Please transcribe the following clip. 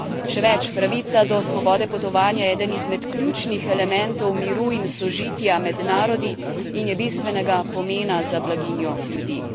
Še več pravica do svobode potovanja je eden izmed ključnih elementov miru in sožitja med narodi in je bistvenega pomena za blaginjo ljudi.